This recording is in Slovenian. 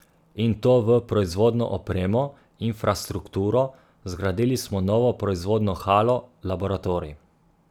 In to v proizvodno opremo, infrastrukturo, zgradili smo novo proizvodno halo, laboratorij.